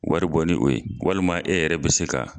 Wari bɔ ni o ye walima e yɛrɛ bɛ se ka